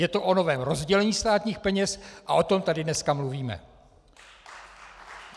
Je to o novém rozdělení státní peněz a o tom tady dneska mluvíte!